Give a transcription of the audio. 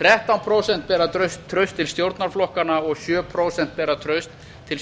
þrettán prósent bera traust til stjórnarflokkanna og sjö prósent bera traust til